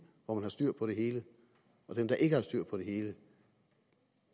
hvor man har styr på det hele og dem der ikke har styr på det hele